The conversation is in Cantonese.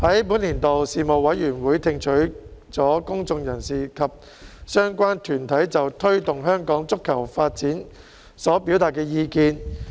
本年度事務委員會聽取了公眾人士及相關團體就推動香港足球發展所表達的意見。